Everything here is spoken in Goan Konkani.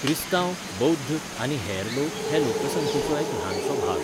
क्रिस्तांव, बौध्द आनी हेर लोक हे लोकसंख्येचो एक ल्हानसो भाग.